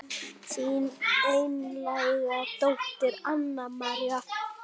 Þín einlæga dóttir Anna María.